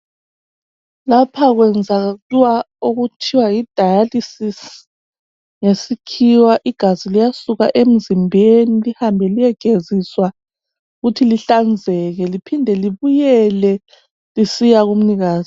Lapha kwenziwa okuthiwa yidialysis ngesikhiwa igazi liyasuka emzimbeni lihambe liyegeziswa ukuthi lihlanzeke liphinde libuyele lisiya kumnikazi.